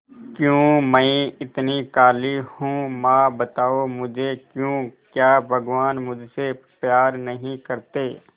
क्यों मैं इतनी काली हूं मां बताओ मुझे क्यों क्या भगवान मुझसे प्यार नहीं करते